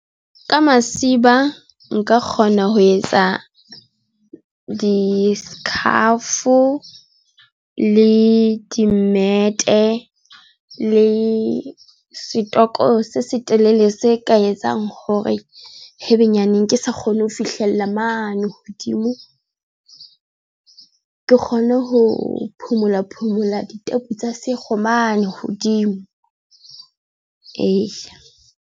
Ka masiba nka kgona ho etsa di-scarf o le di mmete le setoko se setelele se ka etsang hore haebenyaneng ke sa kgone ho fihlella mane hodimo, ke kgone ho phomola, phomola ditebo tsa sekgowa mane hodimo .